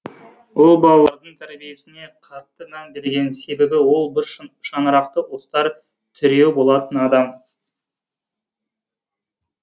ұл балалардың тәрбиесіне қатты мән берген себебі ол бір шаңырақты ұстар тіреуі болатын адам